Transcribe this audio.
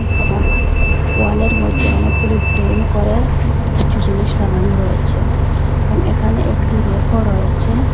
এবং ওয়ালের মইদ্যে অনেকগুলি ফ্রেম করে কিছু জিনিস লাগানো রয়েচে এবং একানে একটি রেকও রয়েচে।